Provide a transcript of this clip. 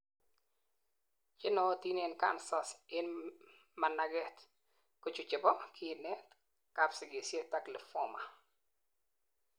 chenootin en cancers en managet kochu chebo:kinet, kapsigisiet, limphoma